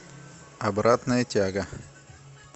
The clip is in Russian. обратная тяга